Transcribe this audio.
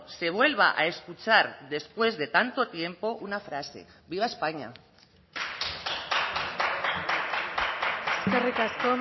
se vuelva a escuchar después de tanto tiempo una frase viva españa eskerrik asko